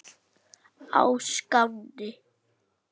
á Skáni.